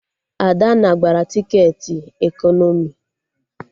Adanna gbara tiketi ekọnọmi